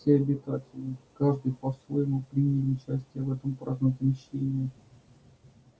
все обитатели каждый по-своему приняли участие в этом празднике мщения